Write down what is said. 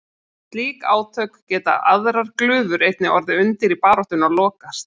Við slík átök geta aðrar glufur einnig orðið undir í baráttunni og lokast.